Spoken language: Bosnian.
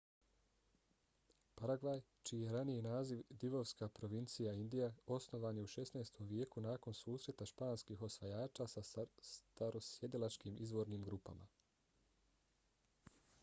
paragvaj čiji je raniji naziv divovska provincija indija osnovan je u 16. vijeku nakon susreta španskih osvajača sa starosjedilačkim izvornim grupama